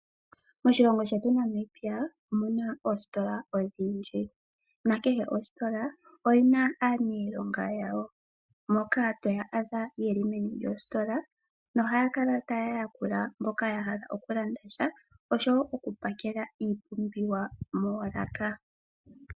Moshilongo shetu Namibia omuna oositola odhindji nakehe ositola oyina aaniilonga yawo moka toya adha yeli meni lyositola na ohayakala tayayakula mboka yahala okulanda tya oshowo okupakela iipumbiwa moolaka.